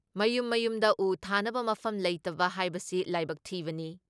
ꯃꯌꯨꯝ ꯃꯌꯨꯝꯗ ꯎ ꯊꯥꯅꯕ ꯃꯐꯝ ꯂꯩꯇꯕ ꯍꯥꯏꯕꯁꯤ ꯂꯥꯏꯕꯛ ꯊꯤꯕꯅꯤ ꯫